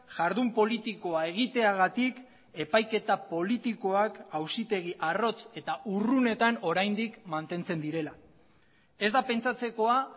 jardun politikoa egiteagatik epaiketa politikoak auzitegi arrotz eta urrunetan oraindik mantentzen direla ez da pentsatzekoa